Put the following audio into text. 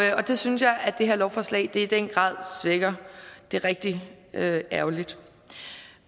det synes jeg det her lovforslag i den grad svækker det er rigtig ærgerligt